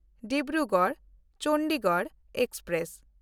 ᱰᱤᱵᱽᱨᱩᱜᱚᱲ–ᱪᱚᱱᱰᱤᱜᱚᱲ express